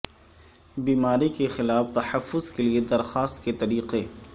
بیماری کے خلاف تحفظ کے لئے درخواست کے طریقے